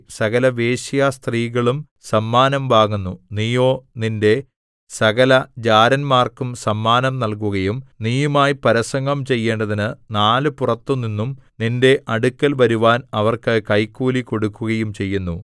സകലവേശ്യാസ്ത്രീകളും സമ്മാനം വാങ്ങുന്നു നീയോ നിന്റെ സകലജാരന്മാർക്കും സമ്മാനം നല്കുകയും നീയുമായി പരസംഗം ചെയ്യേണ്ടതിന് നാലുപുറത്തുനിന്നും നിന്റെ അടുക്കൽ വരുവാൻ അവർക്ക് കൈക്കൂലി കൊടുക്കുകയും ചെയ്യുന്നു